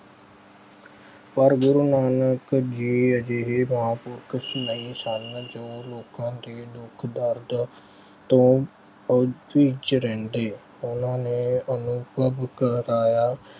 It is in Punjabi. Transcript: ਪਰ ਗੂਰੂ ਨਾਨਕ ਜੀ ਅਜਿਹੇ ਮਹਾਂਪੁਰਖ ਨਹੀਂ ਸਨ ਜੋ ਲੋਕਾਂ ਦੇ ਦੁੱਖ ਦਰਦ ਤੋਂ ਰਹਿੰਦੇ। ਉਹਨਾਂ ਨੇ ਅਨੁਭਵ ਕਰਾਇਆ